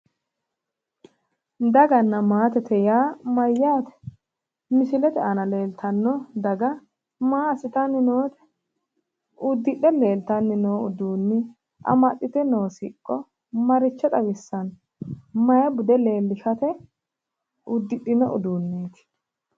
Daganna maatete yaa mayyaate? misilete aana leeltanno daga maa assitanni noote? uddidhe leeltanni noo uddano amxxite noo siqqo maricho xawissanno? mayi bude leellishsate uddidhino uduunneeti?